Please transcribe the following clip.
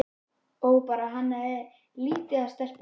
Ó bara hann hefði ekki litið af stelpunum.